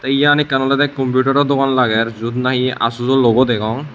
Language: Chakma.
iyan ekkan olodey computaro dogan lager juot nahi asusjo logo degong.